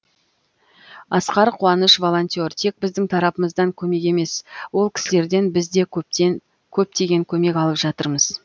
асқар қуаныш волонтер тек біздің тарапымыздан көмек емес ол кісілерден біз де көптеген көмек алып жатырмыз